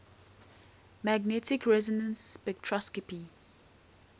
magnetic resonance spectroscopy